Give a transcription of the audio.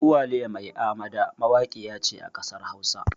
Uwaliya mai amada mawaƙiya ce a ƙasar hausa